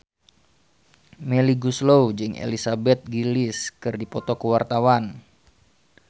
Melly Goeslaw jeung Elizabeth Gillies keur dipoto ku wartawan